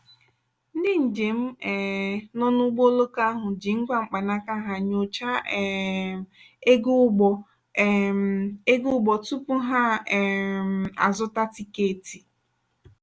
ndị njem um nọ n'ụgbọ oloko ahụ ji ngwa mkpanaka ha nyochaa um ego ụgbọ um ego ụgbọ tupu ha um azụta tikeeti.